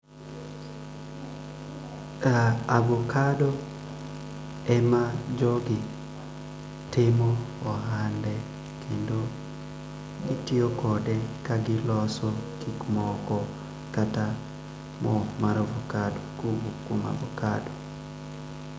Avokado ema jogi timo ohande kendo gitiyo kode ka giloso gikmoko kata moo mar avokado.